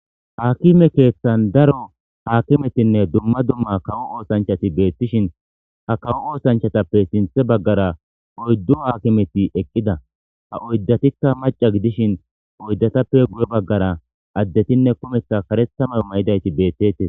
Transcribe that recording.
Aakime keethan daro aakimetinne dumma dumma kawo oothanchati beetishi ha kawo oothanchatape sinthe baggara oydu aakimeti eqqida. Ha oydatikka macca gidishi oydatappe guye baggara addetinne kumetha kareththa mayo mayidayti beetees.